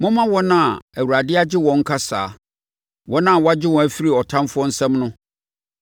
Momma wɔn a Awurade agye wɔn nka saa, wɔn a wagye wɔn afiri ɔtamfoɔ nsam no,